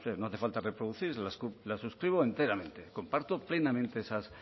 no hace falta reproducirlas las suscribo enteramente comparto plenamente esas